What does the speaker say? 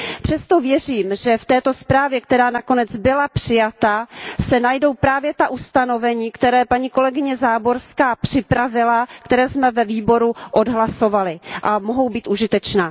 Přesto věřím, že v této zprávě, která nakonec byla přijata, se najdou právě ta ustanovení, která paní kolegyně Záborská připravila, které jsme ve výboru odhlasovali a která mohou být užitečná.